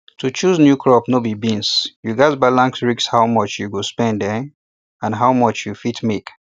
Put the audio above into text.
to choose new crop no be beans you gats balance risk how much you go spend um and how much you fit make